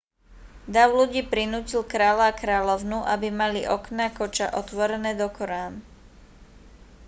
dav ľudí prinútil kráľa a kráľovnú aby mali okná koča otvorené dokorán